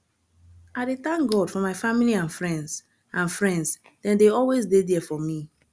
i dey thank god for my family and friends and friends dem dey always dey there for me